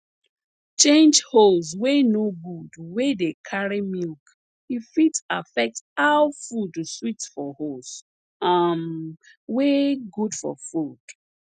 change hose wey no good wey dey carry milk e fit affect how food sweet for hose um wey good for food